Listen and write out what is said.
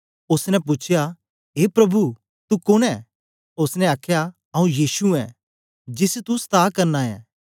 ओसने पूछया ए प्रभु तू कुन्न ऐ ओसने आखया आंऊँ यीशु ऐं जिसी तू सता करना ऐं